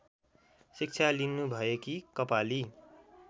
शिक्षा लिनुभएकी कपाली